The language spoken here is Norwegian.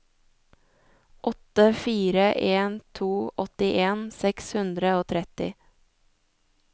åtte fire en to åttien seks hundre og tretti